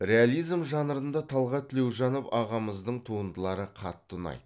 реализм жанрында талғат тілеужанов ағамыздың туындылары қатты ұнайды